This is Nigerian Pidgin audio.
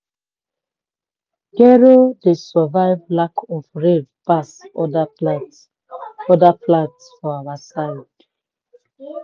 gero dey survive lack of rain pass other plants pass other plants for our side.